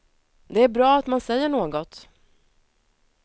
Det är bra att man säger något.